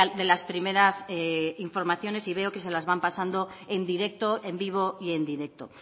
de las primeras informaciones y veo que se las van pasando en directo en vivo y en directo